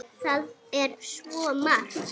Það er svo margt.